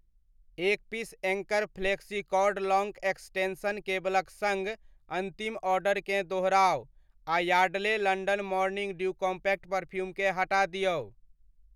एक piece anchor flexicord long extension केबलक सङ्ग अन्तिम ऑर्डरकेँ दोहराउ आ Yardley London morning dew compact perfume केँ हटा दिऔ।